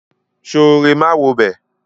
Sooré máa wobẹ̀.